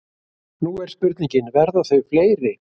Nú er spurningin, verða þau fleiri?